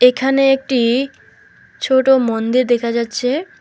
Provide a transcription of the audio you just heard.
এখানে একটি ছোট মন্দির দেখা যাচ্ছে।